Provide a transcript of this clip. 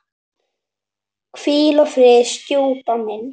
Hvíl í friði, stjúpi minn.